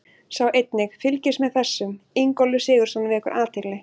Sjá einnig: Fylgist með þessum: Ingólfur Sigurðsson vekur athygli